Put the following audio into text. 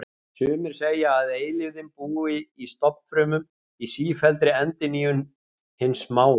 Sumir segja að eilífðin búi í stofnfrumum, í sífelldri endurnýjun hins smáa.